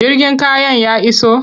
Jirgin kayan ya iso?